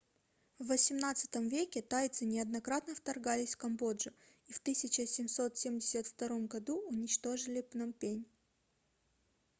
в 18 веке тайцы неоднократно вторгались в камбоджу и в 1772 году уничтожили пномпень